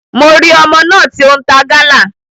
Mo ri ọmọ náà ti o n ta Gala.